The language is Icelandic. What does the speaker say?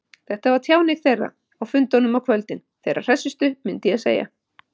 Þetta var tjáning þeirra, á fundunum á kvöldin, þeirra hressustu, myndi ég segja.